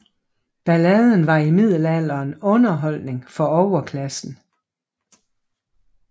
Balladen var i middelalderen underholdning for overklassen